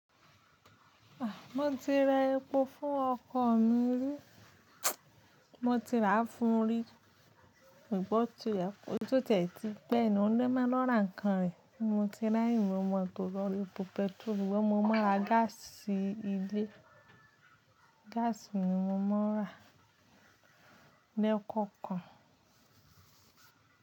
Ah, mo ti ra epo fún ọkọ̀ mi rí, mo ti rà á fún rí, ṣùgbọ́n tó tẹ̀ tí gbẹ́ inú rẹ máa lọ́ra ńkan rẹ̀. Mo ti rà ìmúmọ̀ tó lọ́rí epo pẹ́trò, ìwé mo mọ̀ ra gáàsì ilé, gáàsì ni mo máa n rà lẹ́kọ̀ọ̀kan.